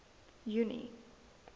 junie